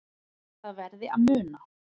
Það verði að muna